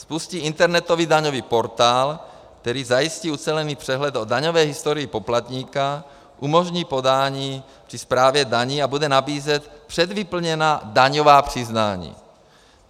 Spustí internetový daňový portál, který zajistí ucelený přehled o daňové historii poplatníka, umožní podání při správě daní a bude nabízet předvyplněná daňová přiznání.